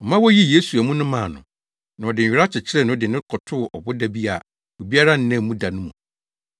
Ɔma woyii Yesu amu no maa no, na ɔde nwera kyekyeree no de no kɔtoo ɔboda bi a obiara nnaa mu da no mu.